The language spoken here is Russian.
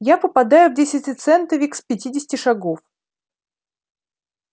я попадаю в десятицентовик с пятидесяти шагов